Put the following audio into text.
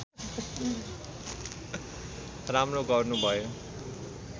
राम्रो गर्नु भयो